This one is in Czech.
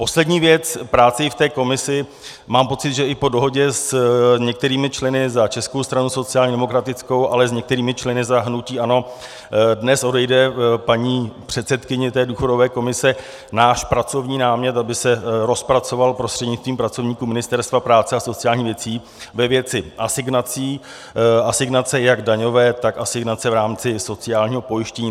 Poslední věc, práce i v té komisi, mám pocit, že i po dohodě s některými členy za Českou stranu sociálně demokratickou, ale s některými členy za hnutí ANO dnes odejde paní předsedkyni té důchodové komise náš pracovní námět, aby se rozpracoval prostřednictvím pracovníků Ministerstva práce a sociálních věcí ve věci asignací, asignace jak daňové, tak asignace v rámci sociálního pojištění.